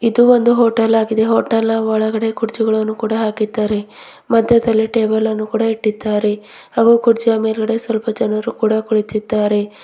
ಮತ್ತು ಒಂದು ಹೋಟಲ್ ಆಗಿದೆ ಹೋಟೆಲ್ನ ಒಳಗಡೆ ಕುರ್ಚಿಗಳನ್ನು ಕೂಡ ಹಾಕಿದ್ದಾರೆ ಮತ್ತೆ ಅದರಲ್ಲಿ ಟೇಬಲ್ ಅನ್ನು ಕೂಡ ಇಟ್ಟಿದ್ದಾರೆ ಮೇಲ್ಗಡೆ ಸ್ವಲ್ಪ ಜನರು ಕೂಡ ಕುಳಿತಿದ್ದಾರೆ.